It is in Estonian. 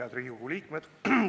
Head Riigikogu liikmed!